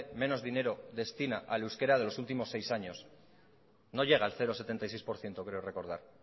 menos dinero destina al euskera de los últimos seis años no llega al cero coma setenta y seis por ciento creo recordar